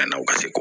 A na u ka se